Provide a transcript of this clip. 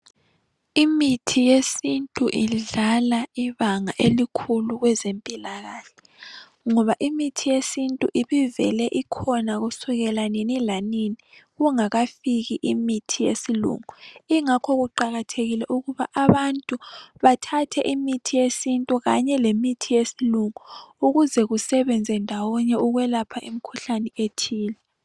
Imithi yesintu idlala ibanga elikhulu kwezempilakahle ngoba imithi yesintu ibivele ikhona kusukela nini lanini kungakafiki imithi yesilungu, ingakho kuqakathekile ukuba abantu bathathe imithi yesintu kanye lemithi yesilungu ukuze kusebenze ndawonye ukwelapha imikhuhlane ethile.